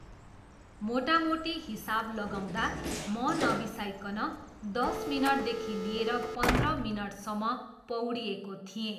मोटामोटी हिसाब लगाउँदा म नबिसाइकन दस मिनटदेखि लिएर पन्ध्र मिनटसम्म पौडिएको थिएँ।